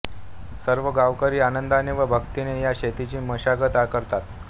सर्व गांवकरी आनंदाने व भक्तीने या शेतीची मशागत करतात